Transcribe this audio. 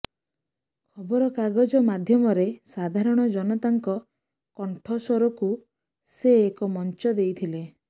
ଖବରକାଗଜ ମାଧ୍ୟମରେ ସାଧାରଣ ଜନତାର କଣ୍ଠସ୍ୱରକୁ ସେ ଏକ ମଞ୍ଚ ଦେଇଥିଲେ